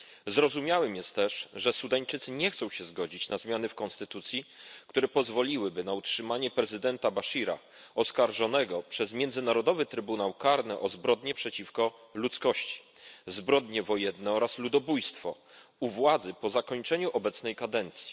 Zrozumiałe jest też, że Sudańczycy nie chcą się zgodzić na zmiany w konstytucji, które pozwoliłyby na utrzymanie prezydenta Baszira oskarżonego przez Międzynarodowy Trybunał Karny o zbrodnie przeciwko ludzkości, zbrodnie wojenne oraz ludobójstwo u władzy po zakończeniu obecnej kadencji.